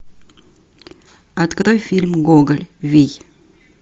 открой фильм гоголь вий